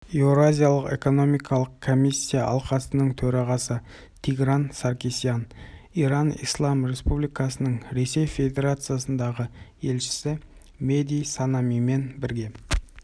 еуразиялық экономикалық комиссия алқасының төрағасы тигран саркисян иран ислам республикасының ресей федерациясындағы елшісі меди санаимен бірге